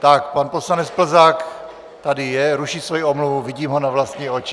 Tak pan poslanec Plzák tady je, ruší svoji omluvu, vidím ho na vlastní oči.